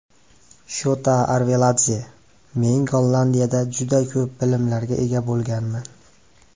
Shota Arveladze: Men Gollandiyada juda ko‘p bilimlarga ega bo‘lganman.